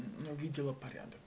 ну видела порядок